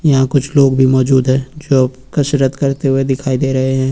यहां कुछ लोग भी मौजूद हैं जो कसरत करते हुए दिखाई दे रहे हैं।